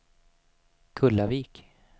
Kullavik